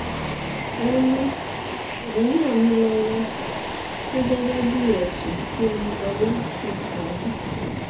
wọn ní òun náà ní lọwọ pé gẹgẹ bíi ẹsùn tí ẹnilọlá fi kàn án